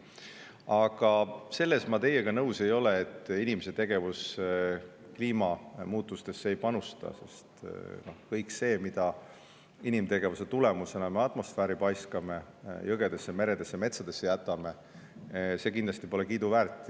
Aga selles ma teiega nõus ei ole, et inimese tegevus kliimamuutustesse ei panusta, sest kõik see, mida me inimtegevuse tulemusena atmosfääri paiskame ning jõgedesse, meredesse ja metsadesse jätame, pole kindlasti kiiduväärt.